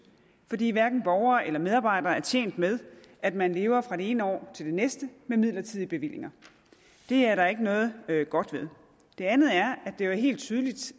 fordi hverken borgere eller medarbejdere er tjent med at man lever fra det ene år til den næste med midlertidige bevillinger det er der ikke noget godt ved det andet er at det jo er helt tydeligt